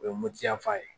O ye moti yan fan ye